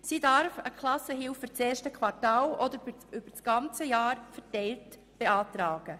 Sie darf eine Klassenhilfe für das erste Quartal oder über das ganze Jahr verteilt beantragen.